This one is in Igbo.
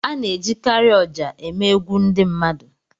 A na-ejikarị ọjà eme egwu ndị mmadụ.